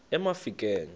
emafikeng